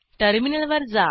टर्मिनलवर जा